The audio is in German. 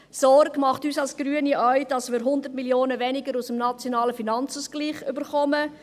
Sorge bereitet uns als Grüne auch, dass wir 100 Mio. Franken weniger aus dem Nationalen Finanzausgleich (NFA) erhalten.